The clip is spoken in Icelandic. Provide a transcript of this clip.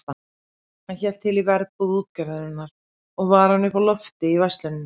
Hann hélt til í verbúð útgerðarinnar og var hún uppi á lofti í versluninni.